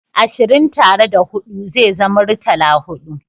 Ashirin tare da hudu ze zama muritala-hudu